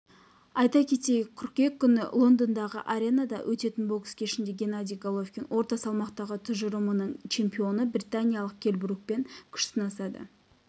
айта кетейік қыркүйек күні лондондағы аренада өтетін бокс кешінде геннадий головкин орта салмақтағы тұжырымының чемпионы британиялық келл брукпен күш сынасады